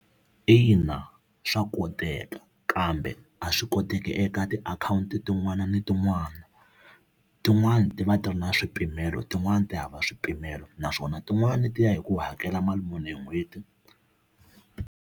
Ina swa koteka, kambe a swi koteki eka tiakhawunti tin'wana na tin'wana. Tin'wani ti va ti ri na swipimelo tin'wani ti hava swipimelo naswona tin'wani ti ya hi ku u hakela mali muni hi n'hweti.